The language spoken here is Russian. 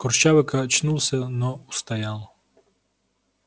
курчавый качнулся но устоял